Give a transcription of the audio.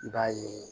I b'a ye